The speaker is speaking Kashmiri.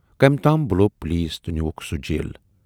کٔمۍ تام بُلوو پولیس تہٕ نیوٗکھ سُہ جیل۔